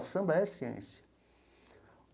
O samba é ciência.